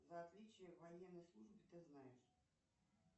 за отличие в военной службе ты знаешь